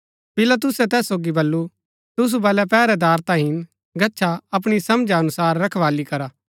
पिलातुसै तैस सोगी बल्लू तुसु बलै पैहरैदार ता हिन गच्छा अपणी समझा अनुसार रखवाली करा